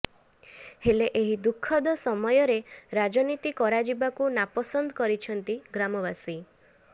ହେଲେ ଏହି ଦୁଃଖଦ ସମୟରେ ରାଜନୀତି କରାଯିବାକୁ ନାପସନ୍ଦ କରିଛନ୍ତି ଗ୍ରାମବାସୀ